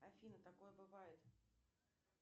афина такое бывает